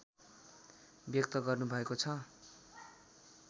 व्यक्त गर्नुभएको छ